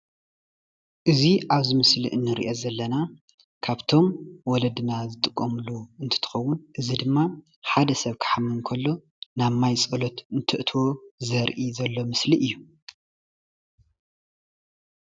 እዚ ኣብዚ ምስሊ እንሪኦ ዘለና ካብቶም ወለድና ዝጥቀምሉ እንትትኸዉን እዚ ድማ ሓደ ሰብ ክሓምም ከሎ ናብ ማይ ፀሎት እንተእትዉ ዘርኢ ዘሎ ምስሊ እዩ።